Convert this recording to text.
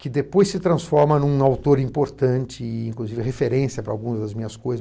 que depois se transforma em um autor importante e, inclusive, referência para algumas das minhas coisas.